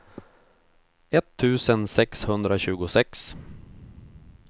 etttusen sexhundratjugosex